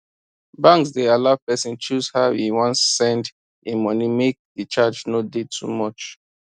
banks dey allow pesin choose how e wan send e money make the charge no dey too much